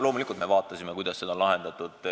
Loomulikult me uurisime, kuidas see on lahendatud.